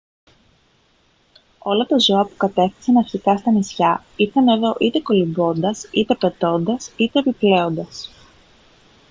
όλα τα ζώα που κατέφθασαν αρχικά στα νησιά ήρθαν εδώ είτε κολυμπώντας είτε πετώντας είτε επιπλέοντας